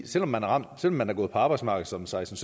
selv om man om man er gået på arbejdsmarkedet som seksten